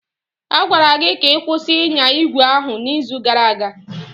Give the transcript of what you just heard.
A gwara gị ka ị kwụsị ịnya ígwè ahụ n'izu gara aga!